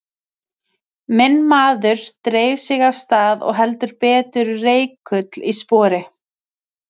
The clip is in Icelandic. Minn maður dreif sig af stað og heldur betur reikull í spori.